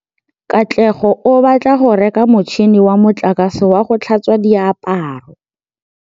Katlego o batla go reka motšhine wa motlakase wa go tlhatswa diaparo.